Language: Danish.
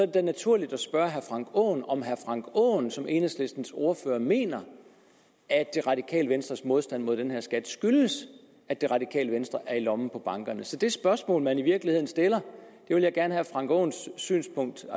det da naturligt at spørge herre frank aaen om herre frank aaen som enhedslistens ordfører mener at det radikale venstres modstand mod den her skat skyldes at det radikale venstre er i lommen på bankerne så det spørgsmål man i virkeligheden stiller vil jeg gerne have herre frank aaens synspunkt